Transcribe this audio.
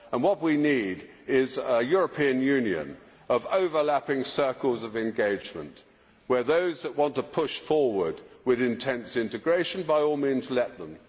What we need is a European Union of overlapping circles of engagement where, if there are those that want to push forward with intense integration, by all means let them.